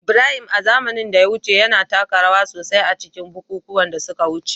Ibrahim, a zamanin da ya wuce, yana taka rawa sosai a cikin bukukuwan da suka wuce